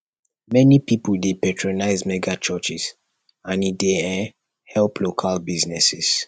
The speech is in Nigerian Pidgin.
many pipo dey patronize megachurches and e dey um help local businesses